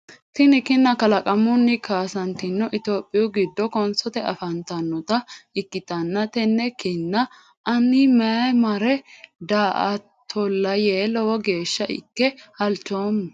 Tinni kinna kalaqamunni kaasantino itophiyu gido konsote afantanota ikitanna tenne kinna anni mayi mare daa'atola yee lowo geesha ike halchoomo.